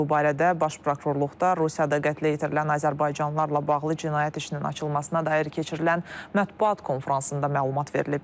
Bu barədə Baş Prokurorluqdan Rusiyada qətlə yetirilən azərbaycanlılarla bağlı cinayət işinin açılmasına dair keçirilən mətbuat konfransında məlumat verilib.